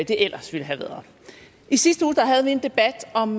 ellers ville have været i sidste uge havde vi en debat om